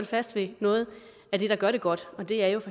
fast ved noget af det der gør det godt og det er jo